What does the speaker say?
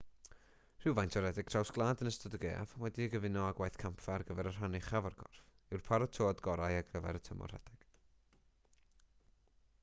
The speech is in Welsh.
rhywfaint o redeg traws gwlad yn ystod y gaeaf wedi'i gyfuno â gwaith campfa ar gyfer rhan uchaf y corff yw'r paratoad gorau ar gyfer y tymor rhedeg